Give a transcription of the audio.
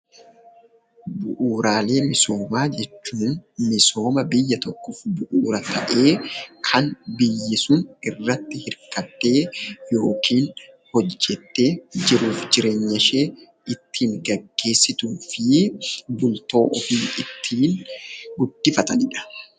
Bu'uuraalee misoomaa jechuun misooma biyya tokkoof bu'uura ta'ee kan biyyi sun irratti hirkattee yookiin hojjettee jiruuf jireenya ishee ittiin gaggeessituu fi bultoo ofii ittiin guddifatanidha.